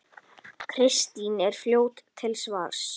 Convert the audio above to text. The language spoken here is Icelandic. Kristín er fljót til svars.